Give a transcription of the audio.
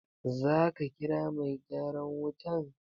Za ka kira mai gyaran wutan?